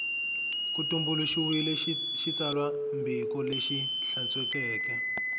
ku tumbuluxiwile xitsalwambiko lexi hlantswekeke